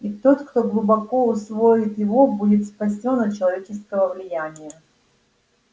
и тот кто глубоко усвоит его будет спасён от человеческого влияния